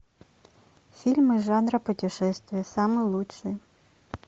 фильмы жанра путешествия самые лучшие